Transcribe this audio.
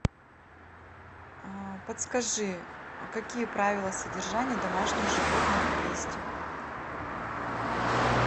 подскажи какие правила содержания домашних животных есть